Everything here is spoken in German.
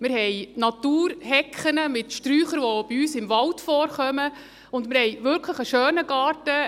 Wir haben Naturhecken mit Sträuchern, die bei uns im Wald vorkommen und wir haben wirklich einen schönen Garten.